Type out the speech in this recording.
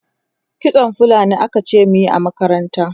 kitson fulani akace muyi a makaranta